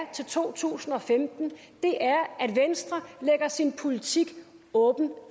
til to tusind og femten er at venstre lægger sin politik åbent